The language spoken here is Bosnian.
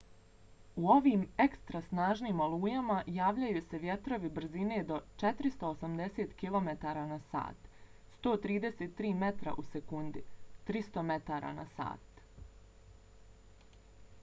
u ovim ekstra snažnim olujama javljaju se vjetrovi brzine do 480 km/h 133 m/s; 300 m/h